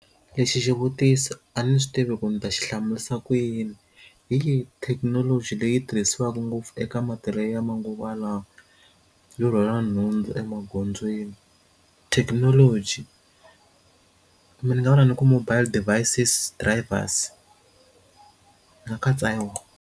Lexi xivutiso a ni swi tivi ku ni ta xi hlamurisa ku yini hi thekinoloji leyi tirhisiwaka ngopfu eka matirhelo ya manguva lawa yo rhwala nhundzu emagondzweni thekinoloji mi ni nga vula ni ku mobile devices drivers ni nga katsa yona.